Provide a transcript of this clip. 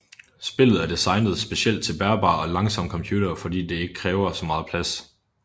Spillet er designet specielt til bærbare og langsomme computer fordi at det ikke kræver så meget plads